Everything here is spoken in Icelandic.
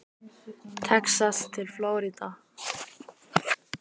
Texas til Flórída.